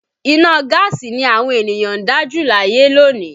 Iná gaasi ni àwọn ènìyàn ń dá jù láyé lónìí